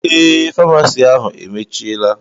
Eé, faamasi ahu emechiela